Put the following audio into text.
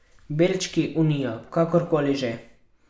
Belčki, Unija, karkoli že.